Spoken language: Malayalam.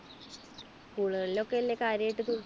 school കളിൽ ഒക്കെയല്ലേ കാര്യായിട്ട് ദുരിതാശ്വാസ